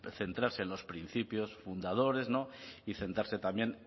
centrarse en los principios fundadores y centrarse también